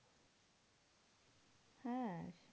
হ্যাঁ